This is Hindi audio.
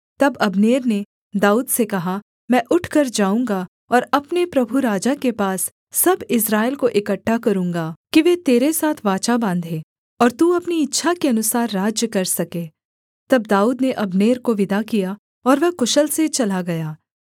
तब अब्नेर ने दाऊद से कहा मैं उठकर जाऊँगा और अपने प्रभु राजा के पास सब इस्राएल को इकट्ठा करूँगा कि वे तेरे साथ वाचा बाँधें और तू अपनी इच्छा के अनुसार राज्य कर सके तब दाऊद ने अब्नेर को विदा किया और वह कुशल से चला गया